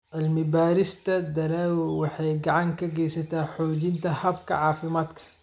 Cilmi-baarista dalaggu waxay gacan ka geysataa xoojinta hababka caafimaadka.